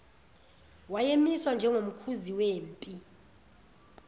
wayemiswa njengomkhuzi wempi